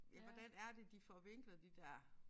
Hvordan er det de får vinklet de der